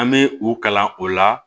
An bɛ u kalan o la